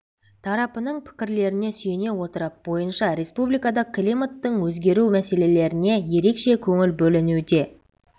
тарапының пікірлеріне сүйене отырып бойынша республикада климаттың өзгеру мәселелеріне ерекше көңіл бөлінуде